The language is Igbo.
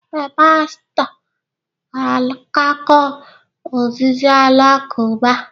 Ee, pastọ ga-akatọ ozizi Alakụba